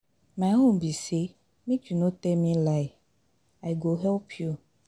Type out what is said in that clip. My own be say make you no tell me lie, I go help you.